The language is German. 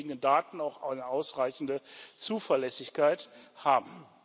die uns vorliegenden Daten auch eine ausreichende Zuverlässigkeit haben.